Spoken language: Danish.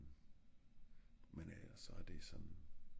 Men øhh så er det såen